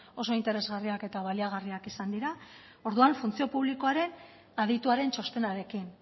oso interesgarriak eta baliagarriak izan dira orduan funtzio publikoaren adituaren txostenarekin